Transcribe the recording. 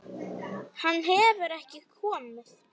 Hann hefur ekki komið.